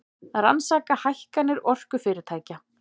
Rannsaka hækkanir orkufyrirtækja